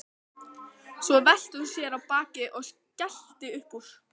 Svo velti hún sér á bakið og skellti upp úr.